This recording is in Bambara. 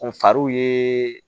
N far'u ye